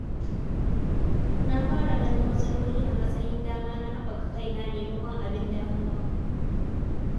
Na fara ganin matsaloli a matsayin dama na haɓaka kaina maimakon abin damuwa.